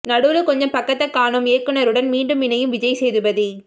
நடுவுல கொஞ்சம் பக்கத்த காணோம் இயக்குனருடன் மீண்டும் இணையும் விஜய் சேதுபதி